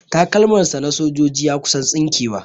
Takalmar sa na sojoji ya kusan tsinke wa